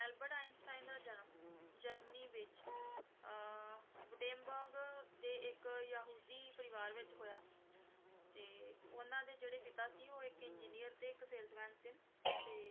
Albert Einstein ਦਾ ਜਨਮ Germany ਵਿੱਚ ਅਹ ਵੁਟੇਮਬਰਗ ਦੇ ਇੱਕ ਯਹੂਦੀ ਪਰਿਵਾਰ ਵਿੱਚ ਹੋਇਆ ਤੇ ਉਨ੍ਹਾਂ ਦੇ ਜਿਹੜਾ ਪਿਤਾ ਸੀ ਉਹ ਇੱਕ engineer ਤੇ ਇੱਕ salesman ਸਨ, ਤੇ